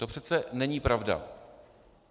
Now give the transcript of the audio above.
To přece není pravda.